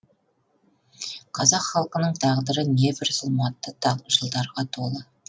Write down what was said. қазақ халқының тағдыры небір зұлматты жылдарға толы